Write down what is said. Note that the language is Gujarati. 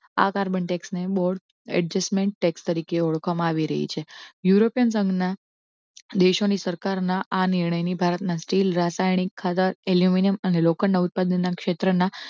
આ કાર્બન tax ને border adjustment tax તરીકે ઓળખવા મા આવી રહી છે યુરોપિયન સંઘના દેશો ની સરકાર ના આ નિર્ણય ને ભારતના સ્ટીલ રાસાયણિક ખાતર, એલ્યુમિનિયમ અને લોખંડ ઉત્પાદનના ક્ષેત્ર ના